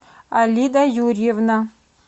алида юрьевна